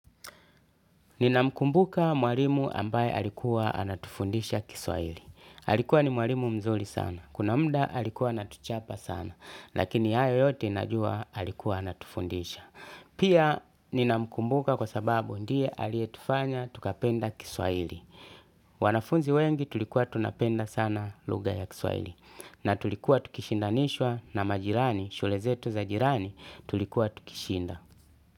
Nina mkumbuka mwalimu ambaye alikuwa anatufundisha kiswahili. Alikuwa ni mwalimu mzuri sana. Kuna mda alikuwa anatuchapa sana. Lakini hayo yote inajua alikuwa anatufundisha. Pia nina mkumbuka kwa sababu ndiye aliyetufanya tukapenda kiswahili. Wanafunzi wengi tulikuwa tunapenda sana lugha ya kiswahili. Na tulikuwa tukishinda nishwa na majirani, shule zetu za jirani tulikuwa tukishinda.